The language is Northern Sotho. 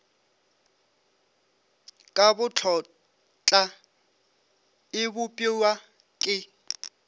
ka botlotla e bopiwa ke